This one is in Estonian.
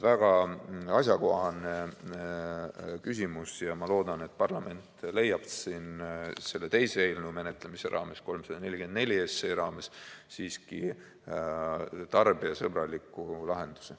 Väga asjakohane küsimus ja ma loodan, et parlament leiab siin selle teise eelnõu menetlemise raames, 344 SE raames siiski tarbijasõbraliku lahenduse.